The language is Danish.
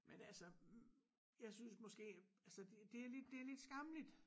Men altså jeg synes måske altså det er lidt det er lidt skammeligt